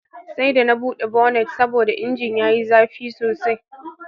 Sai da na bude bonnet saboda injin yayi zafi sosai.